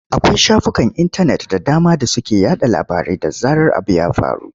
Akwai shafukan intanet da dama da suke yaɗa labarai da zarar abu ya faru.